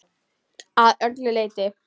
Að öllu leyti.